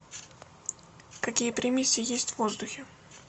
какие примеси есть в воздухе